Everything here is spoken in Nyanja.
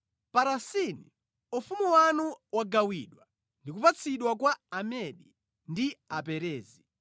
Parasini: Ufumu wanu wagawidwa ndi kupatsidwa kwa Amedi ndi Aperezi.”